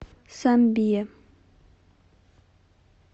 самбия